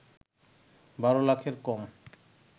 ১২ লাখের কম